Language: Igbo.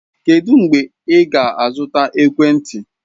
Kedu mgbe ị ga-azụta ekwentị?